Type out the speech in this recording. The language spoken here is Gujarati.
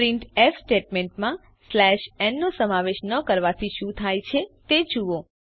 પ્રિન્ટફ સ્ટેટમેન્ટ માં n નો સમાવેશ ન કરવાથી શું થાય છે તે જુઓ